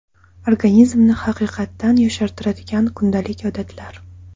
Organizmni haqiqatan yoshartiradigan kundalik odatlar.